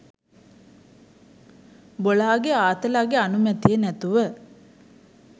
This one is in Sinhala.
බොලාගෙ ආතලගෙ අනුමැතිය නැතුව